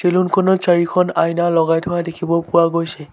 Salon খনত চাৰিখন আইনা লগাই থোৱা দেখিব পোৱা গৈছে।